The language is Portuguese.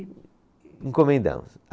E encomendamos.